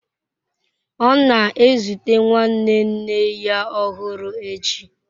Ọ na-ezute nwanne nne ya ọhụrụ echi